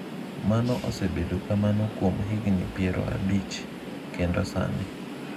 Mano osebedo kamano kuom higni piero abich kendo sani.